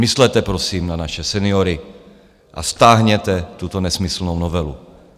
Myslete prosím na naše seniory a stáhněte tuto nesmyslnou novelu.